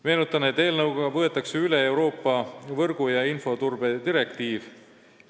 Meenutan, et eelnõuga võetakse üle Euroopa võrgu- ja infoturbe direktiiv.